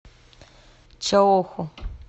чаоху